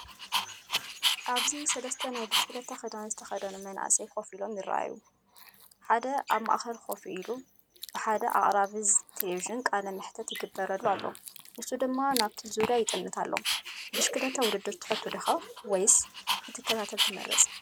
ኣብዚ ሰለስተ ናይ ብሽክለታ ክዳን ዝተኸድኑ መንእሰያት ኮፍ ኢሎም ይረኣዩ። ሓደ ኣብ ማእከል ኮፍ ኢሉ ብሓደ ኣቕራቢ ቴሌቪዥን ቃለ መሕትት ይገብር ኣሎ፡ ንሱ ድማ ናብቲ ዙርያ ይጥምት ኣሎ። ብሽክለታ ውድድር ትፈቱ ዲኻ? ወይስ ክትከታተል ትመርጽ?